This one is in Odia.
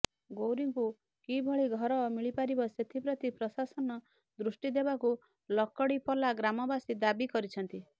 ଗୌରୀଙ୍କୁ କିଭଳି ଘର ମିଳିପାରିବ ସେଥିପ୍ରତି ପ୍ରଶାସନ ଦୃଷ୍ଟି ଦେବାକୁ ଲକଡିପଲା ଗ୍ରାମବାସୀ ଦାବି କରିଛନ୍ତି